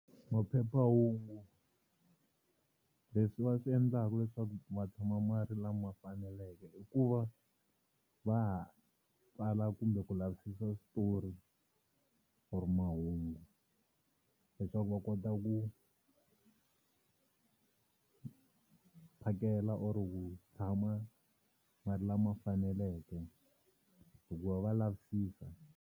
Maphephahungu leswi va swi endlaka leswaku ma tshama ma ri lama faneleke i ku va va tsala kumbe ku lavisisa switori or mahungu leswaku va kota ku phakela or ku tshama ma ri lama faneleke hikuva va lavisisa.